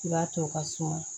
I b'a to o ka suma